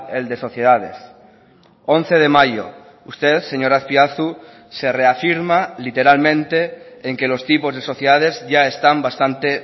el de sociedades once de mayo usted señor azpiazu se reafirma literalmente en que los tipos de sociedades ya están bastante